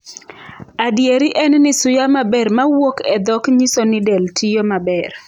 Adieri en ni suya maber mawuok e dhok nyiso ni del tiyo maber.